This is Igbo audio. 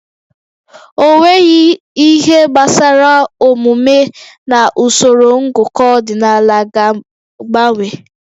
Ọnweghị ihe gbasara omume na usoro ngụkọ ọdịnala ga-agbanwe